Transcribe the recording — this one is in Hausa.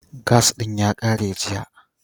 Gas ɗin ya ƙare jiya.